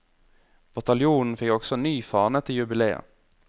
Bataljonen fikk også ny fane til jubiléet.